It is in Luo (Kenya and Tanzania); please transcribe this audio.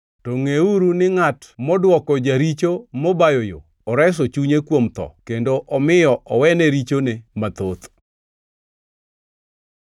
to ngʼeuru ni ngʼat modwoko jaricho mobayo yo oreso chunye kuom tho kendo omiyo owene richone mathoth.